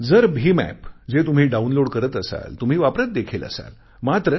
जर भीम ऍप जे तुम्ही डाऊनलोड करत असाल तुम्ही वापरत देखील असाल